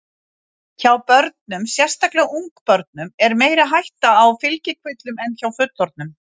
Hjá börnum, sérstaklega ungbörnum er meiri hætta á fylgikvillum en hjá fullorðnum.